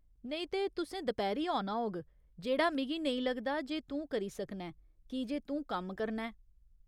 नेईं ते, तुसें दपैह्‌री औना होग, जेह्ड़ा मिगी नेईं लगदा जे तूं करी सकना ऐं कीजे तूं कम्म करना ऐ।